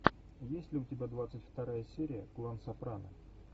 есть ли у тебя двадцать вторая серия клан сопрано